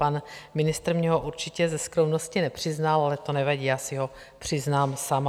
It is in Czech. Pan ministr mně ho určitě ze skromnosti nepřiznal, ale to nevadí, já si ho přiznám sama.